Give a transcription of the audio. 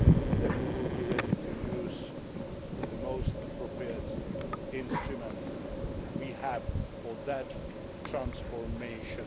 say that we will be ready to use the most appropriate instrument we have for that transformation.